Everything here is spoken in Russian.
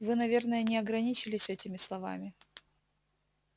вы наверное не ограничились этими словами